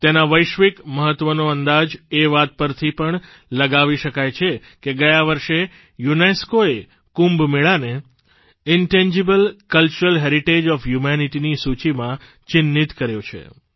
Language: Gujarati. તેના વૈશ્વિક મહત્વનો અંદાજ એ વાત પરથી પણ લગાવી શકાય છે કે ગયા વર્ષે યુનેસ્કોએ કુંભમેળાને intangible cultural heritage of humanity ની સૂચિમાં ચિન્હિત કર્યો છે